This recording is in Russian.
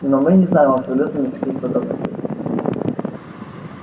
но мы не знаем абсолютно никаких подробностей